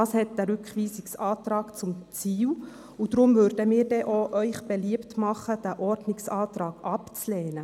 Das hat der Rückweisungsantrag zum Ziel, und darum würden wir Ihnen denn auch beliebt machen, den Ordnungsantrag abzulehnen.